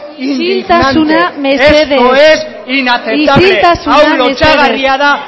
isiltasuna mesedez esto es inaceptable hau lotsagarria da